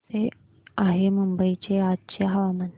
कसे आहे मुंबई चे आजचे हवामान